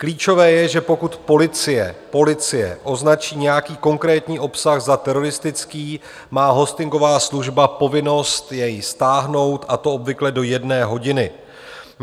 Klíčové je, že pokud policie označí nějaký konkrétní obsah za teroristický, má hostingová služba povinnost jej stáhnout, a to obvykle do jedné hodiny.